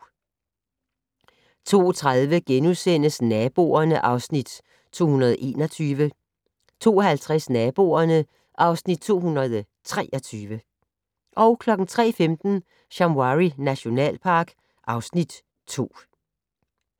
02:30: Naboerne (Afs. 221)* 02:50: Naboerne (Afs. 223) 03:15: Shamwari nationalpark (Afs. 2)